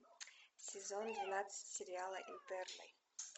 сезон двенадцать сериала интерны